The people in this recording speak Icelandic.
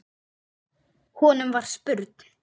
Honum var spurn.